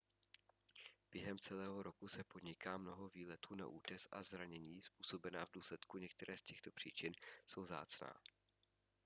během celého roku se podniká mnoho výletů na útes a zranění způsobená v důsledku některé z těchto příčin jsou vzácná